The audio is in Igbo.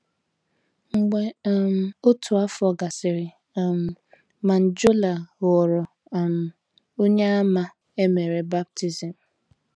Mgbe um otu afọ gasịrị um, Manjola ghọrọ um Onyeàmà e mere baptism.